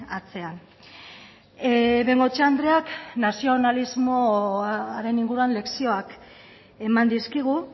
atzean bengoechea andreak nazionalismoaren inguruan lezioak eman dizkigu